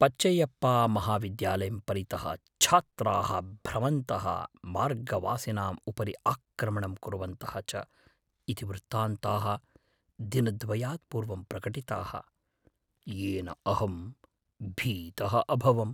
पचैयप्पामहाविद्यालयं परितः छात्राः भ्रमन्तः, मार्गवासिनाम् उपरि आक्रमणं कुर्वन्तः च इति वृत्तान्ताः दिनद्वयात् पूर्वं प्रकटिताः, येन अहं भीतः अभवम्।